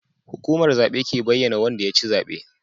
Hukumar zabe ke bayyAna Wanda yaci zabe